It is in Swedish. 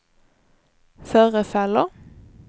förefaller